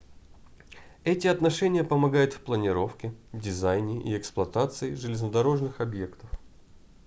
эти отношения помогают в планировке дизайне и эксплуатации железнодорожных объектов